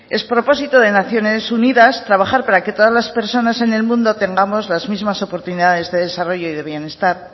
es propósito de naciones unidas trabajar para que todas las personas en el mundo tengamos las mismas oportunidades de desarrollo y bienestar